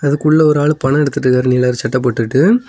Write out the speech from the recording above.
அதுக்குள்ள ஒரு ஆள் பண எடுத்திட்டிருக்கார் நீல கலர் சட்டை போட்டுட்டு.